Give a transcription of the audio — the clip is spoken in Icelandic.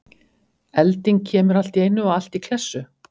Elding kemur allt í einu og allt í klessu?